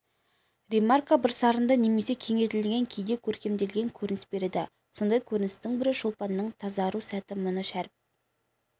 ремарка бірсарынды немесе кеңейтілген кейде көркемделген көрініс береді сондай көріністің бірі шолпанның тазару сәті мұны шәріп